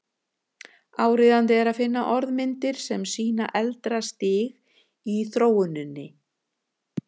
Áríðandi er að finna orðmyndir sem sýna eldra stig í þróuninni.